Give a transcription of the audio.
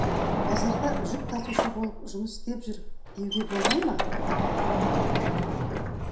базарда жүк тасушы болып жұмыс істеп жүр деуге болмай ма